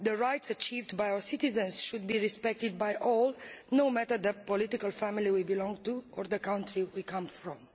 The rights achieved by our citizens should be respected by all, no matter the political family we belong to or the country we come from.